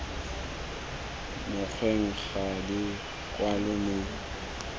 mokgweng ga di kwalwe mo